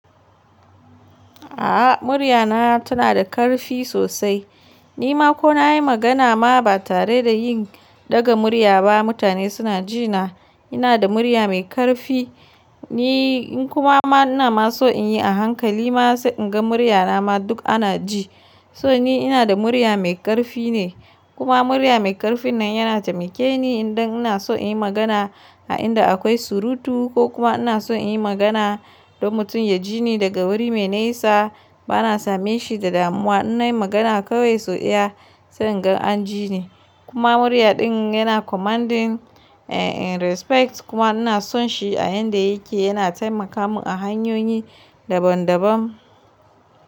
A'a murya na tana da karfi sosai. Ni ma ko na yi magana ma ba tare da yin daga murya ba mutane suna ji na. Ina da murya mai karfi, ni in kuma ma ina ma so in yi a hankali ma sai in ga murya na ma duk ana ji. So ni ina da murya mai karfi ne kuma murya mai karfin nan yana taimake ni idan ina so in yi magana a inda akwai surutu ko kuma ina so in yi magana don mutum ya ji ni daga wuri mai nisa. Ba na same shi da damuwa. Ina yin magana kawai so iya sai in ga an ji ni. Kuma murya din yana commanding and respect kuma ina son shi a yanda yake yana taimaka mun a hanyoyi daban daban.